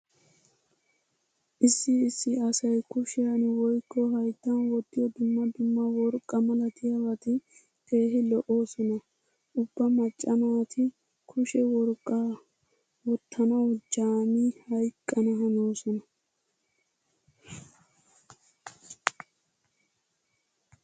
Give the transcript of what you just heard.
Issi issi asay kushiyan woykko hayttan wottiyo dumma dumma worqqaa malatiyabati keehi lo'oosona. Ubba macca naati kushe worqqaa wottanawu jaami hayqqana hanoosona.